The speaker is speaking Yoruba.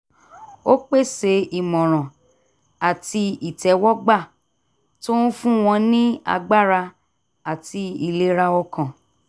ó pèsè ìmọ̀ràn àti ìtẹ́wọ́gba tó ń fún wọn ní agbára àti ìlera ọkàn